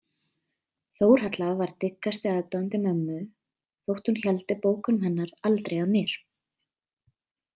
Þórhalla var dyggasti aðdáandi mömmu þótt hún héldi bókunum hennar aldrei að mér.